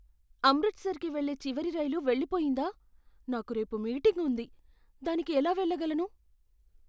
అమృత్సర్కి వెళ్లే చివరి రైలు వెళ్లిపోయిందా? నాకు రేపు మీటింగ్ ఉంది, దానికి ఎలా వెళ్ళగలను?